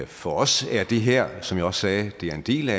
for os er det her som jeg også sagde en del